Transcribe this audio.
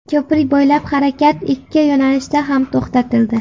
Ko‘prik bo‘ylab harakat ikki yo‘nalishda ham to‘xtatildi.